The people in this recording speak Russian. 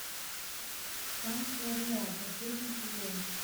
санка рэа последний сезон